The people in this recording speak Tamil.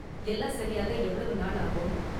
எல்லாம் சரியாக எவ்வளவு நாள் ஆகும்?